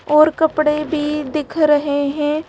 और कपड़े भी दिख रहे हैं।